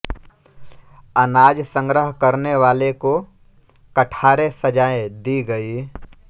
अनाज संग्रह करने वाले को कठारे सजाएें दी गई